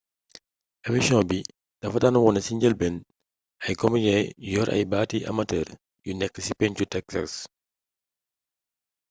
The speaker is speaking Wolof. emisiyoŋ bi dafa daan wone ci njëlbeen ay komejee yu yor ay baati amatër yu nekk ci penku texas